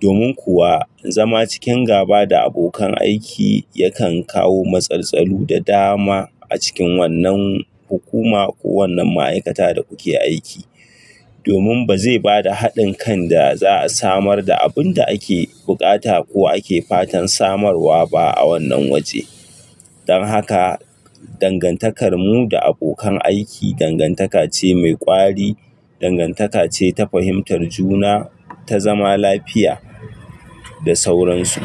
Domin kuwa zama cikin gaba da abokan aiki yakan kawo matsaltsalu da dama a cikin wannan hukuma ko wannan ma'aikata da kuke aiki. Domin ba zai ba da haɗin kan da za a samar da abun da ake buƙata ko ake fatan samarwa ba a wannan waje. Don haka, dangantakar mu da abokan aiki dangantaka ce mai ƙwari, dangantaka ce ta fahimtar juna, ta zama lafiya da sauransu.